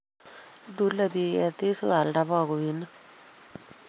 Ilule pik ketik si koyalda bakoinik